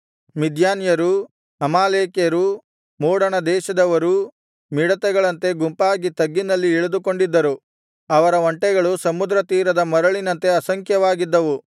ಮಿದ್ಯಾನ್ಯರೂ ಅಮಾಲೇಕ್ಯರೂ ಮೂಡಣ ದೇಶದವರೂ ಮಿಡತೆಗಳಂತೆ ಗುಂಪಾಗಿ ತಗ್ಗಿನಲ್ಲಿ ಇಳಿದುಕೊಂಡಿದ್ದರು ಅವರ ಒಂಟೆಗಳು ಸಮುದ್ರತೀರದ ಮರಳಿನಂತೆ ಅಸಂಖ್ಯವಾಗಿದ್ದವು